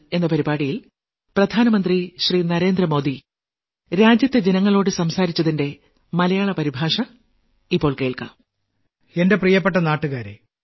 എന്റെ പ്രിയപ്പെട്ട നാട്ടുകാരേ നമസ്ക്കാരം